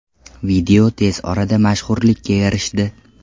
Video tez orada mashhurlikka erishdi.